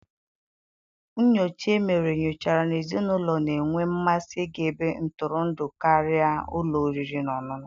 Nnyocha e mere nyochara na ezinụlọ na-enwe mmasị ịga ebe ntụrụndụ karịa ụlọ oriri na ọṅụṅụ.